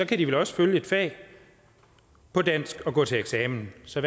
kan de vel også følge et fag på dansk og gå til eksamen så